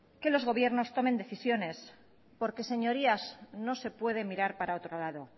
que los gobiernos tomen decisiones porque señorías no se puede mirar para otro lado